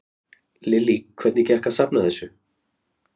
Lillý: Hvernig gekk að safna þessu?